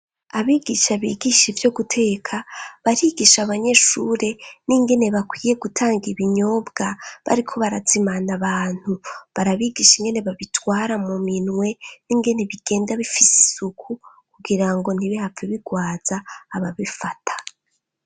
Abigisha bigisha ivyo guteka, barigisha abanyeshure n'ingene bakwiye gutanga ibinyobwa bariko barazimana abantu. Barabigisha ingene babitwara mu minwe n'ingene bigenda bifise isuku kugira ngo nti bihave bigwaza ababifata.